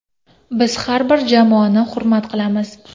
Biz har bir jamoani hurmat qilamiz.